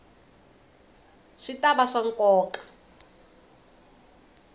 swi ta va swa nkoka